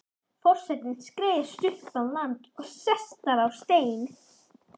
Forsetinn skreiðist upp á land og sest þar á stein.